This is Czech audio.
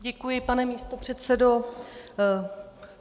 Děkuji, pane místopředsedo.